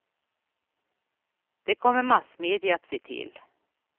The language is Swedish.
Det kommer massmedia att se till.